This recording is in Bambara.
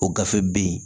O gafe bɛ yen